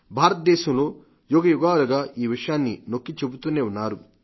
భారతదేశంలో యుగయుగాలుగా ఈ విషయాన్ని నొక్కి చెబుతూనే ఉన్నారు